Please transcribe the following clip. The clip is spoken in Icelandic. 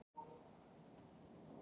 Helsta heimild: